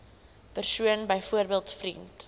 persoon byvoorbeeld vriend